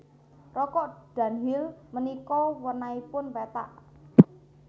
Rokok Dunhill menika wernanipun pethak